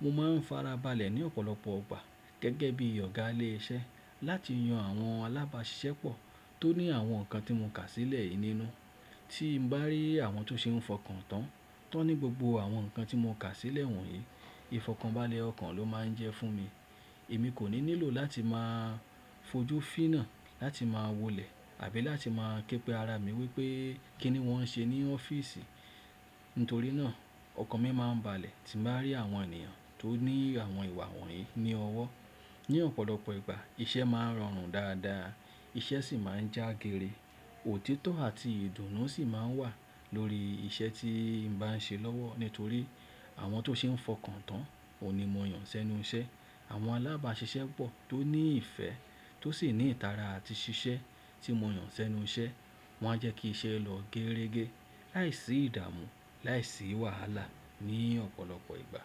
mo máa ń farabalẹ̀ ní ọ̀pọ̀lọpọ̀ ìgbà gẹ́gẹ́ bí Ọ̀gá ilé iṣẹ́ láti yan àwọn alábàáṣiṣẹ́ pọ̀ tó ní àwọn ǹkan tí mo kà sílẹ̀ yìí nínú. Tí n bá rí àwọn tó ṣe ń fọkàn tán tọní gbogbo àwọn ǹkan tí mo kà sílẹ̀ wọ̀nyí, ìfọ̀kànbalẹ̀ ọkàn ló máa ń jẹ́ fún mi. Èmi kò ní nílò láti máa fojú fíná láti máa wòlẹ̀ àbí láti máa kẹ́pẹ́ ara mi wípé kí ni wón ń ṣe ní ọ́fíìsì. Nítorí náà ọkàn mi máa ń balẹ̀ tí n bá rí àwọn ènìyàn tó ní àwọn ìwà wọ̀nyí ní ọwọ́. Ni ọ̀pọ̀lọpọ̀ ìgbà iṣẹ́ máa ń rọrùn dáadáa, iṣẹ́ sì máa ń já géere, òtítọ́ àti ìdùnnú sì máa ń wà lórí iṣẹ́ tí n bá ń ṣe lọ́wọ́. Nítorí àwọn tó ṣe ń fọkàn tán ò ní mọ̀ yàn sẹ́nu iṣẹ́. Àwọn alábàáṣiṣẹ́pọ̀ tó ní ìfẹ́ tó sì ní ìtara àti ṣiṣẹ́ tí mo yàn sẹ́nu iṣẹ́ won a jẹ́ kí iṣẹ́ lọ géeregé láìsí ìdààmú láìsí wàhálà ní ọ̀pọ̀lọpọ̀ ìgbà.